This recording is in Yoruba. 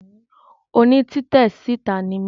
Oní títè síta ni mí